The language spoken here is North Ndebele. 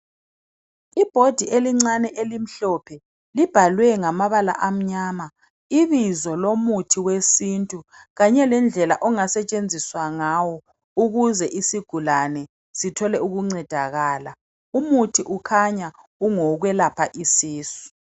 I board elincane elimhlophe, libhalwe ngamabala amnyama ibizo lomuthi wesintu kanye lendlela ongasetshenziswa ngawo ukuze isigulane sithole ukuncedakala. Umuthi ukhanya ngowokwelapha isisu